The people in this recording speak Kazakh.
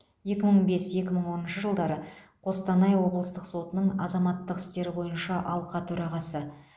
екі мың бес екі мың оныншы жылдары қостанай облыстық сотының азаматтық істер бойынша алқа төрағасы